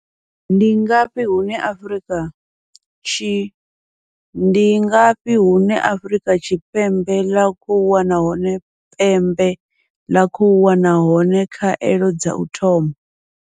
Ndi ngafhi hune Afrika Tshi Ndi ngafhi hune Afrika Tshipembe ḽa khou wana hone pembe ḽa khou wana hone khaelo dza u thoma.